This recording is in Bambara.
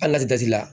Hali n'a tɛ ji la